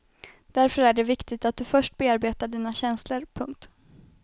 Därför är det viktigt att du först bearbetar dina känslor. punkt